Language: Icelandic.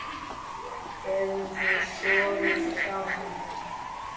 Hefurðu sofið hjá henni?